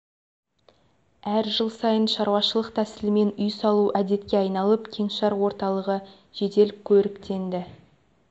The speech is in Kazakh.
әр жыл сайын шаруашылық тәсілімен үй салу әдетке айналып кеңшар орталығы жедел көріктенді